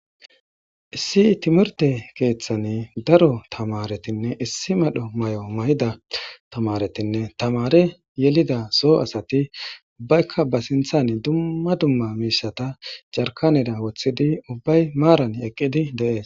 Issi timirte keeththani daro tamaaretinne issi medho mayo mayida tamaaretinne tamaare yelida soo asati ubbaykka ba sinththan dumma dumma miishshata jarkanera woththidi ubbay maaran eqqidi de'es.